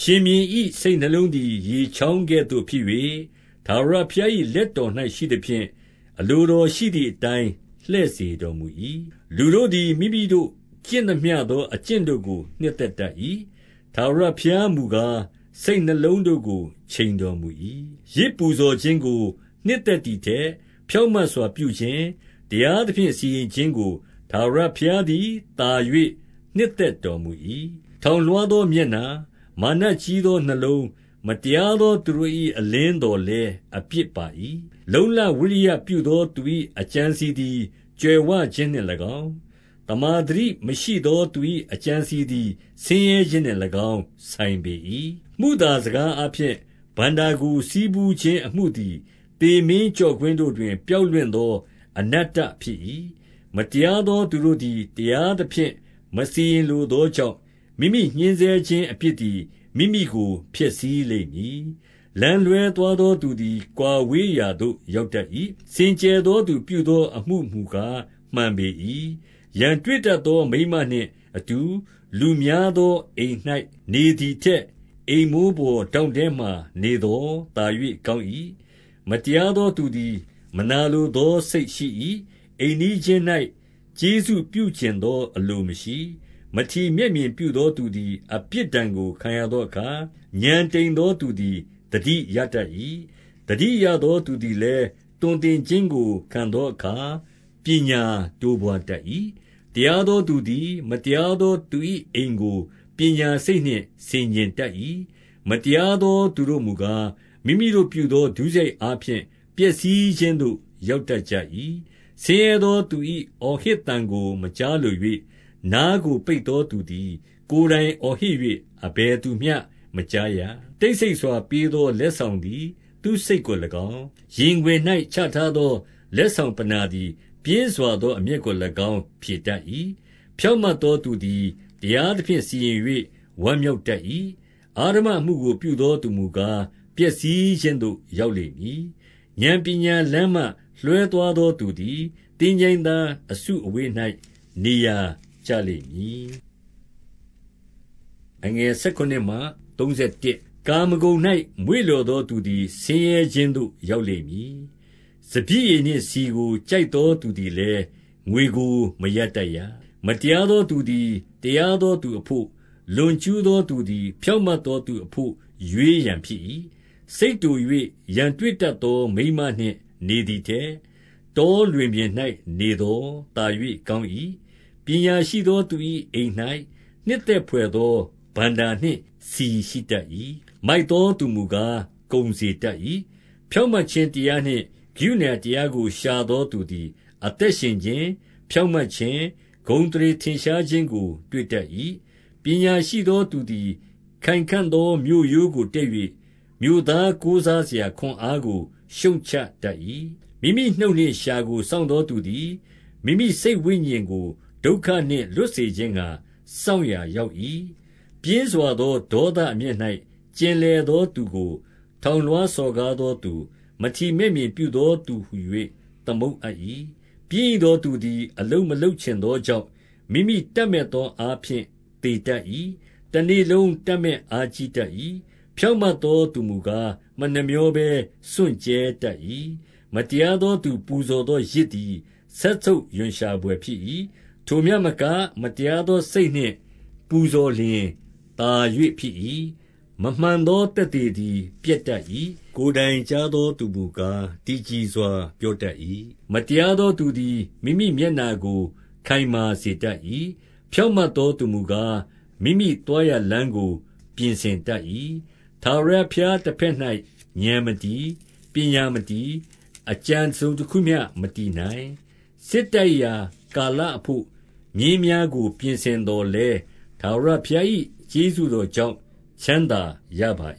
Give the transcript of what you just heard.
ရှင်ဘုရင်၏ စိတ်နှလုံးသည် ရေချောင်းကဲ့သို့ ဖြစ်၍၊ ထာဝရဘုရား၏ လက်တော်၌ရှိသဖြင့်၊ အလို တော်ရှိသည်အတိုင်း လှည့်စေတော်မူ၏။ 2 လူတို့သည်မိမိတို့ ကျင့်သမျှသော အကျင့်တို့ကို နှစ်သက်တတ်၏။ ထာဝရဘုရားမူကား၊ စိတ်နှလုံးတို့ကို ချိန်တော်မူ၏။ 3 ယဇ်ပူဇော်ခြင်းကို နှစ်သက်သည်ထက် ဖြောင့် မတ်စွာပြုခြင်း၊ တရားသဖြင့် စီရင်ခြင်းကို ထာဝရဘုရား သည် သာ၍နှစ်သက်တော်မူ၏။ 4 ထောင်လွှားသောမျက်နှာ၊ မာနကြီးသောနှလုံး၊ မတရားသောသူတို့၏အလင်းသော်လည်း အပြစ်ပါ၏။ 5 လုံ့လဝိရိယပြုသောသူ၏အကြံအစည်သည် ကြွယ်ဝခြင်းနှင့်၎င်း၊ သမ္မာသတိမရှိသော သူ၏အကြံ အစည်သည် ဆင်းရဲခြင်းနှင့်၎င်း ဆိုင်ပေ၏။ 6 မုသာစကားအားဖြင့် ဘဏ္ဍာကိုဆည်းဖူးခြင်း အမှုသည် သေမင်းကျော့ကွင်းတို့တွင် ပျောက်လွင့်သော အနတ္တဖြစ်၏။ 7 မတရားသော သူတို့သည် တရားသဖြင့်မစီရင် လိုသောကြောင့်၊ မိမိညှဉ်းဆဲခြင်းအပြစ်သည် မိမိကို ဖျက်ဆီးလိမ့်မည်။ 8 လမ်းလွှဲသွားသောသူသည် ကွာဝေးရာသို့ ရောက်တတ်၏။ စင်ကြယ်သော သူပြုသောအမှုမူကား မှန်ပေ၏။ 9 ရန်တွေ့တတ်သောမိန်းမနှင့် အတူလူများသော အိမ်၌နေသည်ထက်၊ အိမ်မိုးပေါ်ထောင့်ထဲမှာ နေသော် သာ၍ကောင်း၏။ 10 မတရားသောသူသည် မနာလိုသောစိတ်ရှိ၏။ အိမ်နီးချင်း၌ ကျေးဇူးပြုချင်သော အလိုမရှိ။ 11 မထီမဲ့မြင်ပြုသောသူသည် အပြစ်ဒဏ်ကို ခံရသောအခါ၊ ဥာဏ် တိမ်သောသူသည်သတိရတတ်၏။ သတိရသောသူသည်လည်း သွန်သင်ခြင်းကိုခံသောအခါ၊ ပညာတိုးပွါးတတ်၏။ 12 တရားသောသူသည် မတရားသောသူ၏အိမ်ကို ပညာစိတ်နှင့် ဆင်ခြင်တတ်၏။ မတရားသောသူတို့ မူကား၊ မိမိတို့ပြုသောဒုစရိုက်အားဖြင့် ပျက်စီးခြင်းသို့ ရောက်တတ်ကြ၏။ 13 ဆင်းရဲသောသူ၏အော်ဟစ်သံကို မကြားလို၍၊ နားကိုပိတ်သော သူသည် ကိုယ်တိုင်အော်ဟစ်၍၊ အဘယ် သူမျှမကြားရ။ 14 တိတ်ဆိတ်စွာ ပေးသောလက်ဆောင်သည် သူ့စိတ်ကို၎င်း၊ ရင်ခွင်၌ချထားသော လက်ဆောင်ပဏ္ဏာ သည် ပြင်းစွာသော အမျက်ကို၎င်း ဖြေတတ်၏။ 15 ဖြောင့်မတ်သောသူသည် တရားသဖြင့်စီရင်၍ ဝမ်းမြောက်တတ်၏။ အဓမ္မအမှုကိုပြုသောသူမူကား၊ ပျက်စီးခြင်းသို့ ရောက်လိမ့်မည်။ 16 ဥာဏ်ပညာလမ်းမှ လွှဲသွားသော သူသည် သင်္ချိုင်းသား အစုအဝေး၌ နေရာကျလိမ့်မည်။ 17 ကာမဂုဏ်၌ မွေ့လျော်သောသူသည် ဆင်းရဲ ခြင်းသို့ ရောက်လိမ့်မည်။ စပျစ်ရည်နှင့်ဆီကို ကြိုက်သော သူသည်လည်း ငွေကိုမရတတ်ရ။ 18 မတရားသောသူသည် တရားသောသူအဘို့၊ လွန်ကျူးသော သူသည်ဖြောင့်မတ်သောသူအဘို့ ရွေးရန် ဖြစ်၏။ 19 စိတ်တို၍ရန်တွေ့တတ်သောမိန်းမနှင့် နေသည် ထက်၊ တောလွင်ပြင်၌ နေသော်သာ၍ကောင်း၏။ 20 ပညာရှိသောသူ၏အိမ်၌ နှစ်သက်ဘွယ်သော ဘဏ္ဍာနှင့် ဆီရှိတတ်၏။ မိုက်သောသူမူကား၊ ကုန်စေ တတ်၏။ 21 ဖြောင့်မတ်ခြင်းတရားနှင့်ကရုဏာတရားကို ရှာသောသူသည် အသက်ရှင်ခြင်း၊ ဖြောင့်မတ်ခြင်း၊ ဂုဏ် အသရေထင်ရှားခြင်းကို တွေ့တတ်၏။ 22 ပညာရှိသောသူသည် ခိုင်ခံ့သောမြို့ရိုးကို တက် ၍၊ မြို့သားကိုးစားစရာခွန်အားကို ရှုတ်ချတတ်၏။ 23 မိမိနှုတ်နှင့်လျှာကိုစောင့်သော သူသည် မိမိ စိတ်ဝိညာဉ်ကို ဒုက္ခနှင့်လွတ်စေခြင်းငှါ စောင့်ရာရောက် ၏။ 24 ပြင်းစွာသော ဒေါသအမျက်၌ ကျင်လည်သော သူကို၊ ထောင်လွှားစော်ကားသောသူ၊ မထီမဲ့မြင်ပြုသော သူဟူ၍ သမုတ်အပ်၏။ 25 ပျင်းရိသောသူသည် အလုပ်မလုပ်ချင်သော ကြောင့်၊ မိမိတပ်မက်သောအားဖြင့် သေတတ်၏။ 26 တနေ့လုံးတပ်မက်အားကြီးတတ်၏။ ဖြောင့်မတ် သော သူမူကား မနှမြောဘဲစွန့်ကြဲတတ်၏။ 27 မတရားသော သူပူဇော်သော ယဇ်သည် စက်ဆုပ်ရွံ့ရှာဘွယ်ဖြစ်၏။ ထိုမျှမက၊ မတရားသော စိတ်နှင့်ပူဇော်လျှင် သာ၍ဖြစ်၏။ 28 မမှန်သော သက်သေသည် ပျက်တတ်၏။ ကိုယ်တိုင်ကြားသောသူမူကား၊ တည်ကြည်စွာ ပြော တတ်၏။ 29 မတရားသောသူသည် မိမိမျက်နှာကို ခိုင်မာ စေတတ်၏။ ဖြောင့်မတ်သောသူမူကား၊ မိမိသွားရာလမ်း ကို ပြင်ဆင်တတ်၏။ 30 ထာဝရဘုရားတဘက်၌ ဥာဏ်မတည်၊ ပညာ မတည်၊ အကြံတစုံတခုမျှ မတည်နိုင်။ 31 စစ်တိုက်ရာကာလအဘို့မြင်းများကို ပြင်ဆင် သော်လည်း၊ ထာဝရဘုရား၏ကျေးဇူးတော်ကြောင့် ချမ်းသာရပါ